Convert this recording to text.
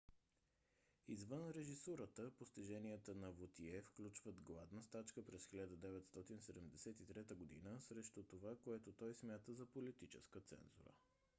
извън режисурата постиженията на вотие включват гладна стачка през 1973 г. срещу това което той смята за политическа цензура